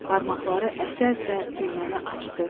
Barmaqları əsə-əsə düyməni açdı.